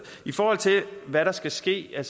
i forhold til hvad der skal ske